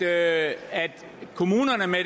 er at kommunerne med